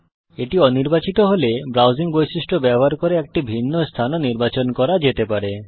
এটি অনির্বাচিত হলে ব্রাউসিং বৈশিষ্ট্য ব্যবহার করে একটি ভিন্ন স্থান ও নির্বাচন করা যেতে পারে